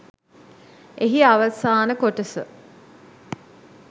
එහි අවසාන කොටස